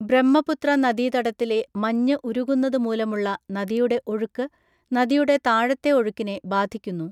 ബ്രഹ്മപുത്ര നദീതടത്തിലെ മഞ്ഞ് ഉരുകുന്നത് മൂലമുള്ള നദിയുടെ ഒഴുക്ക് നദിയുടെ താഴത്തെ ഒഴുക്കിനെ ബാധിക്കുന്നു.